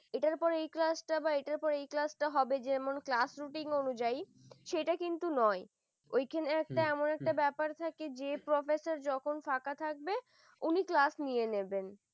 এটার পরে এই class বা এটার পরেই এই class হবে যেমন class rutine অনুযায়ী সেটা কিন্তু নয় ওইখানে হম এমন একটা ব্যাপার থাকে যে professor যখন ফাঁকা থাকবে উনি class নিয়ে নেবেন ।